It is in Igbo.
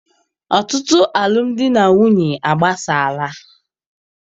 Ọtụtụ alụmdi na nwunye agbasala.